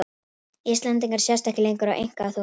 Íslendingar sjást ekki lengur á einkaþotum